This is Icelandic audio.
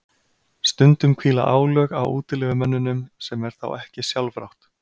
Stundum hvíla álög á útilegumönnunum sem er þá ekki sjálfrátt.